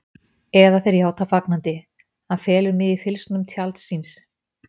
Eða þeir játa fagnandi: Hann felur mig í fylgsnum tjalds síns.